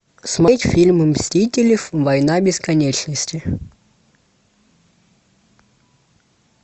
смотреть фильм мстители война бесконечности